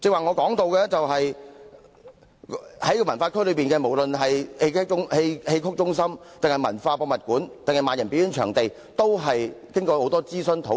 我剛才提到，西九文化區內，不論是戲曲中心、M+ 博物館或萬人表演場地，落實前均經過多番諮詢及討論。